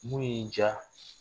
Mun y'i diya